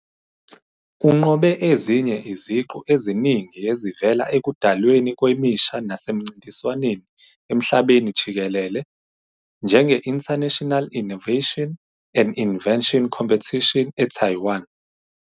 Unqobe ezinye iziqu eziningi ezivela ekudalweni kwemisha nasemincintiswaneni emhlabeni jikelele, njenge-International Innovation and Invention Competition eTaiwan.